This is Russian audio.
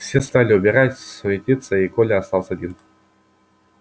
все стали убирать суетиться и коля остался один